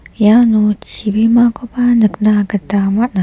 iano chibimakoba nikna gita man·a.